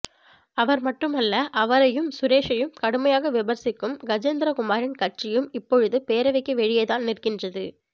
அவர் மட்டுமல்ல அவரையும் சுரேஷையும் கடுமையாக விமர்சிக்கும் கஜேந்திரகுமாரின் கட்சியும் இப்பொழுது பேரவைக்கு வெளியே தான் நிற்கின்றது